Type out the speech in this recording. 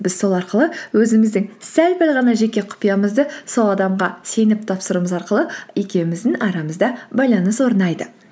біз сол арқылы өзіміздің сәл пәл ғана жеке құпиямызды сол адамға сеніп тапсыруымыз арқылы екеуміздің арамызда байланыс орнайды